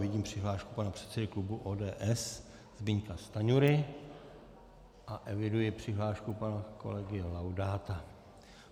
Vidím přihlášku pana předsedy klubu ODS Zbyňka Stanjury a eviduji přihlášku pana kolegy Laudáta.